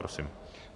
Prosím.